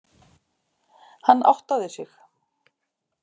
Hann áttaði sig.